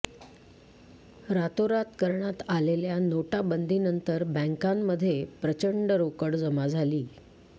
रातोरात करण्यात आलेल्या नोटाबंदीनंतर बँकांमध्ये प्रचंड रोकड जमा झाली